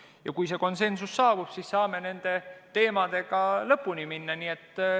Ja kui see konsensus saabub, siis saame nende teemadega lõpuni minna.